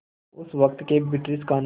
उस वक़्त के ब्रिटिश क़ानून